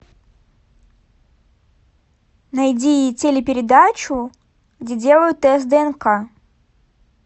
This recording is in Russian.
найди телепередачу где делают тест днк